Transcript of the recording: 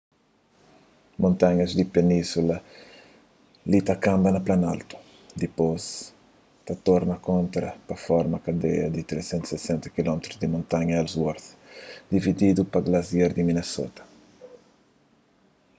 montanhas di península li ta kanba na planaltu dipôs ta torna kontra pa forma kadeia di 360 km di montanhas ellsworth divididu pa glasiar di minnesota